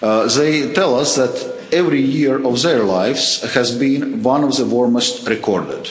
They tell us that every year of their lives has been one of the warmest recorded.